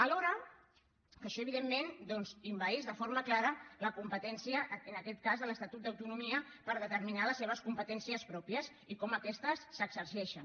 i això evidentment envaeix de forma clara la competència en aquest cas de l’estatut d’autonomia per determinar les seves competències pròpies i com aquestes s’exerceixen